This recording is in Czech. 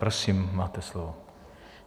Prosím, máte slovo.